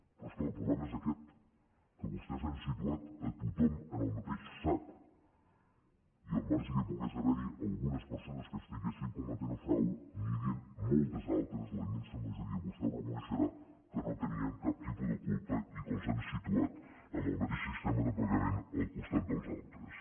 però és clar el problema és aquest que vostès han situat a tothom en el mateix sac i al marge que pogués haver hi algunes persones que estiguessin cometent frau n’hi havien moltes altres la immensa majoria vostè ho reconeixerà que no tenien cap tipus de culpa i que els han situat amb el mateix sistema de pagament al costat dels altres